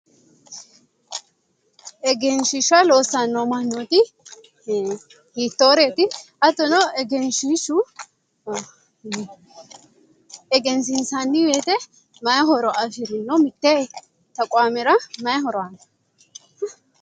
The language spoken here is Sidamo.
Egensiishsha loossanno mannooti hiittooreeti hattono egenshiishshu egensiinsanni woyte mayi horo afirino mitte taqaamera mayi horo aanno